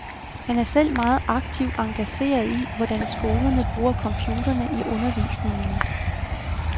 Han er selv meget aktivt engageret i, hvordan skolerne bruger computerne i undervisningen.